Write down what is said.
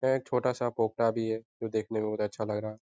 यहाँ एक छोटा-सा पोखरा भी है जो देखने में बहुत अच्छा लग रहा है।